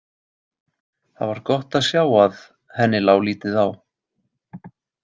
Það var gott að sjá að henni lá lítið á.